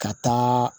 Ka taa